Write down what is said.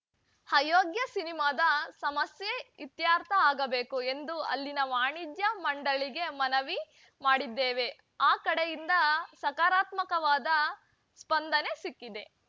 ಅಯೋಗ್ಯ ಸಿನಿಮಾದ ಸಮಸ್ಯೆ ಇತ್ಯರ್ಥ ಆಗಬೇಕು ಎಂದು ಅಲ್ಲಿನ ವಾಣಿಜ್ಯ ಮಂಡಳಿಗೆ ಮನವಿ ಮಾಡಿದ್ದೇವೆ ಆ ಕಡೆಯಿಂದ ಸಕಾರಾತ್ಮಕವಾದ ಸ್ಪಂದನೆ ಸಿಕ್ಕಿದೆ